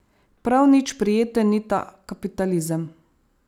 Prav nič prijeten ni ta kapitalizem.